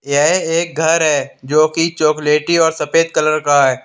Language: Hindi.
यह एक घर है जो की चॉकलेटी और सफेद कलर का है।